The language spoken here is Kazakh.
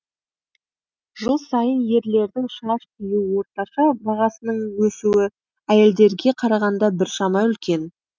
жыл сайын ерлердің шаш қию орташа бағасының өсуі әйелдерге қарағанда біршама үлкен